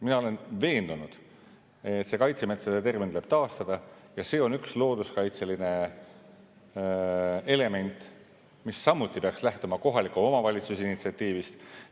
Mina olen veendunud, et kaitsemetsade termin tuleb taastada, ja see on üks looduskaitseline element, mis samuti peaks lähtuma kohaliku omavalitsuse initsiatiivist.